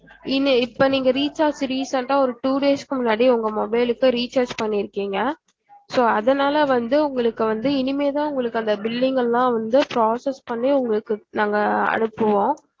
இனி இப்ப நீங்க recharge recent ஆஹ் ஒரு two days க்கு முன்னாடி உங்க mobile க்கு recharge பண்ணிருக்கிங்க so அதனால வந்து உங்களுக்கு வந்து இனிமேத்தா உங்களுக்கு அந்த billing எல்லாம் வந்து process பண்ணி உங்களுக்கு நாங்க அனுப்புவோம்